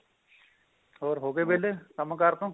ਹੋਰ ਹੋ ਗਏ ਵੇਲੇ ਕੰਮ ਕਾਰ ਤੋਂ